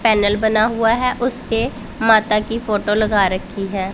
Panel बना हुआ है उसपे माता की फोटो लगा रखी है।